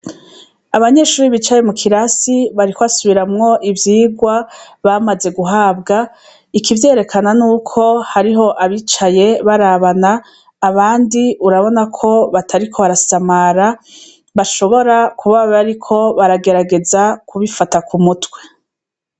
Abanyeshure bicaye mu kirasi bariko basubiramwo ivyigwa bamaze guhabwa ikivyerekena nuko hariho abicaye barabana abandi urabona ko batariko barasamara bashobora kuba bariko baragerageza kubifata ku mutwe.